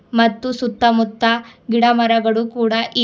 ಮತ್ತು ಸುತ್ತ ಮುತ್ತ ಗಿಡ ಮರಗಳು ಕೊಡ ಇವ್--